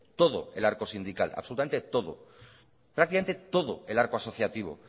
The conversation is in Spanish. todo el arco sindical absolutamente todo prácticamente todo el arco asociativo